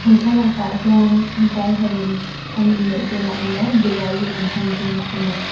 he thlalak ah hian vai ho in an inneih dawn ah emaw diwali an hman dawn ah emaw.